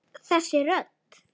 Þessi rödd!